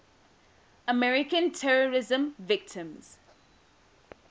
american terrorism victims